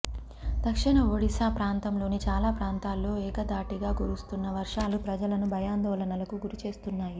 దక్షిణ ఒడిశా ప్రాంతంలోని చాలా ప్రాంతాల్లో ఏకధాటిగా కురుస్తున్న వర్షాలు ప్రజలను భయాందోళనలకు గురిచేస్తున్నాయి